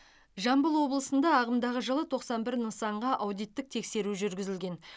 жамбыл облысында ағымдағы жылы тоқсан бір нысанға аудиттік тексеру жүргізілген